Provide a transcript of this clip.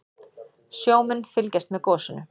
Sjómenn fylgjast með gosinu